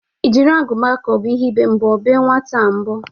Ị jiri agụba ka ọ bụ ihe ibe mbọ bee nwaata a mbọ?